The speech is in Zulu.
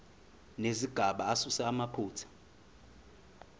nezigaba asuse amaphutha